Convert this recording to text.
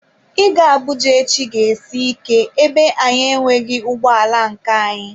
Ịga Abuja echi ga-esi ike ebe anyị enweghị ụgbọ ala nke anyị.